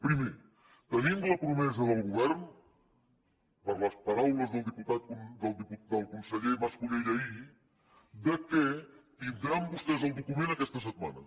primer tenim la promesa del govern per les paraules del conseller mas colell ahir que tindran vostès el document aquesta setmana